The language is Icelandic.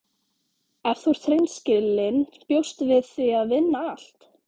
Ef þú ert hreinskilin bjóstu við því að vinna allt?